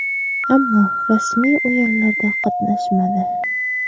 Ammo rasmiy o‘yinlarda qatnashmadi.